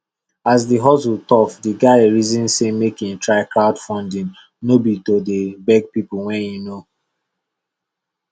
as the hustle tough the guy reason say make e try crowdfunding no be to dey beg people wey e know